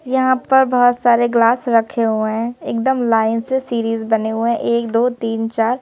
यहां पर बहुत सारे ग्लास रखे हुए हैं एकदम लाइन से सीरीज बने हुए हैं एक दो तीन चार।